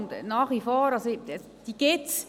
Denn diese gibt es.